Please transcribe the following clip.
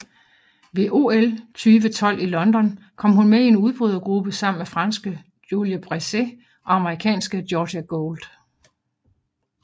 Ved OL 2012 i London kom hun med i en udbrydergruppe sammen med franske Julie Bresset og amerikansk Georgia Gould